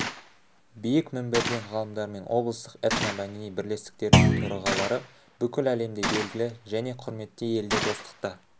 биік мінберден ғалымдар мен облыстық этномәдени бірлестіктердің төрағалары бүкіл әлемде белгілі және құрметті елде достықта